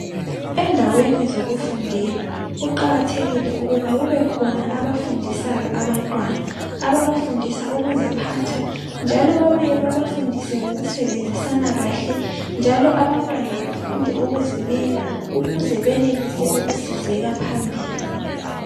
Endaweni zokufundela kuqakathekile ukuba kube khona abafundisayo abantwana . Ababa fundisa ukuziphatha njalo babuye babafundise ngokusebenzisana kahle njalo abantwana bafunde ukuzimela ukuze benelise ukusizeka phambili .